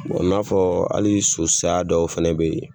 i n'a fɔ hali so saya dɔw fɛnɛ bɛ yen.